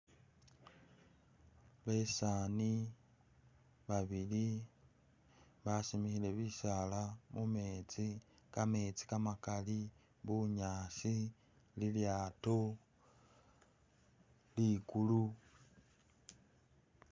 Besaani babiri basimikhile bisaala mumetsi, kametsi kamakali, bunyasi, lilyaato, likulu...